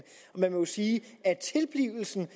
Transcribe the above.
man må jo sige at tilblivelsen